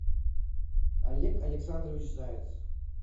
олег александрович заяц